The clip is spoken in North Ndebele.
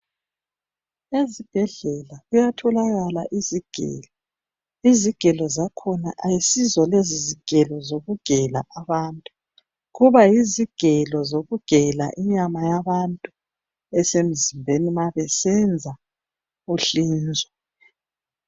Ezibhedlela kuyatholakala izigelo. Izigelo zakhona ayisizo lezizigelo zokugela abantu. Kuba yizigelo zokugela inyama yabantu, uma besenza uhlinzo.